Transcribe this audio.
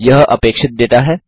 यह अपेक्षित डेटा है